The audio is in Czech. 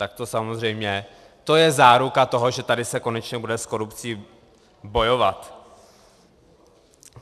Tak to samozřejmě, to je záruka toho, že tady se konečně bude s korupcí bojovat.